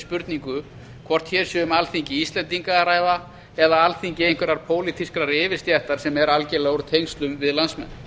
spurningu hvort hér sé um alþingi íslendinga að ræða eða alþingi einhverrar pólitískrar yfirstéttar sem er algerlega úr tengslum við landsmenn